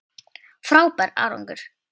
Frábær árangur